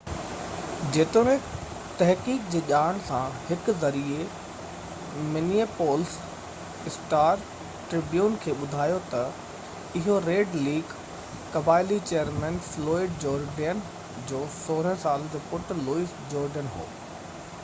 جيتوڻيڪ تحقيق جي ڄاڻ سان هڪ ذريعي منيئيپولس اسٽار-ٽربيون کي ٻڌايو ته اهو ريڊ ليڪ قبائلي چيئرمين فلوئڊ جورڊين جو 16 سالن جو پٽ لوئس جورڊين هو